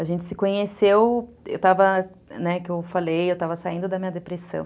A gente se conheceu, eu estava, né, que eu falei, eu estava saindo da minha depressão.